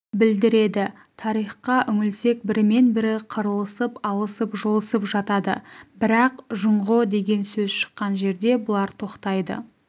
білдіреді тарихқа үңілсек бірімен-бірі қырылысып алысып-жұлысып жатады бірақ жұңғо деген сөз шыққан жерде бұлар тоқтайды